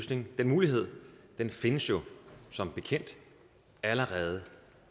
den mulighed findes jo som bekendt allerede